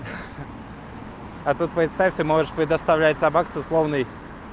а тут представь ты можешь предоставлять собак с условной